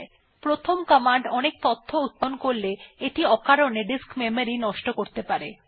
যদি প্রথম কমান্ড অনেক তথ্য উত্পাদন করে এটা অকারণে ডিস্ক মেমরি নষ্ট করতে পারে